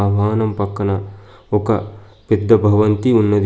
ఆ వాహనం పక్కన ఒక పెద్ద భవంతి ఉన్నది.